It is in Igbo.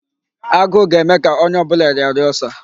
Agụụ ga-eme ka ónyé ọbụla rịara Ulcer.